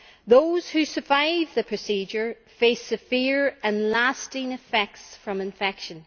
Those who survive the procedure have severe and lasting effects from infection.